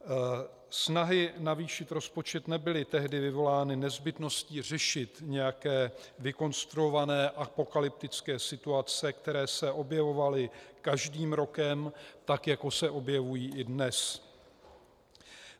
Snahy navýšit rozpočet nebyly tehdy vyvolány nezbytností řešit nějaké vykonstruované apokalyptické situace, které se objevovaly každým rokem, tak jako se objevují i dnes.